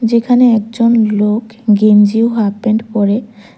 যেখানে একজন লোক গেঞ্জি ও হাফ প্যান্ট পরে--